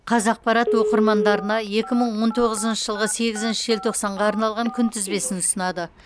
қазақпарат оқырмандарына екі мың он оғызыншы жылғы сегізінші желтоқсанға арналған күнтізбесін ұсынады